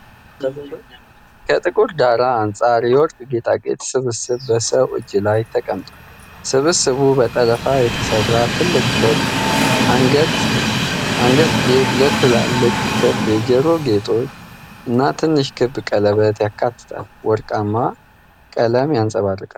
ከጥቁር ዳራ አንጻር የወርቅ ጌጣጌጥ ስብስብ በሰው እጅ ላይ ተቀምጧል። ስብስቡ በጠለፋ የተሠራ ትልቅ ክብ አንገትጌ፣ ሁለት ትላልቅ ክብ የጆሮ ጌጦች፣ እና ትንሽ ክብ ቀለበት ያካትታል። ወርቃማው ቀለም ያንጸባርቃል።